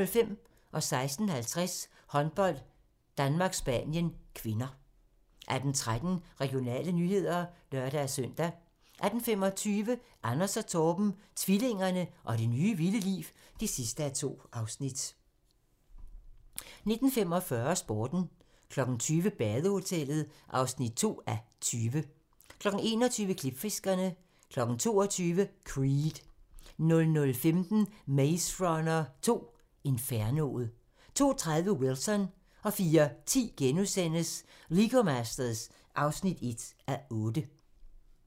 16:50: Håndbold: Danmark-Spanien (k) 18:13: Regionale nyheder (lør-søn) 18:25: Anders & Torben - tvillingerne og det nye, vilde liv (2:2) 19:45: Sporten 20:00: Badehotellet (2:20) 21:00: Klipfiskerne 22:00: Creed 00:15: Maze Runner 2: Infernoet 02:30: Wilson 04:10: Lego Masters (1:8)*